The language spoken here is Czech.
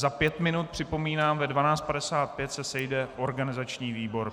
Za pět minut, připomínám, ve 12.55 se sejde organizační výbor.